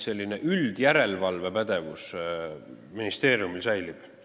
Selline üldjärelevalvepädevus ministeeriumil säilib.